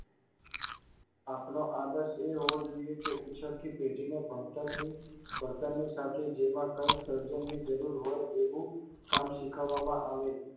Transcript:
આપણો આદર્શ એ હોવો જોઇયે કે ઉછ્ડતી પેઢીને ભણતરની ભણતરની સાથે જેમાં કઈક સર્જનની જરૂર હોય એવું કામ શીખવવામાં આવે.